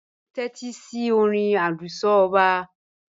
Ṣe o n tẹtisi ọ̀rìn oluso ọba?